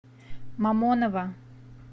мамоново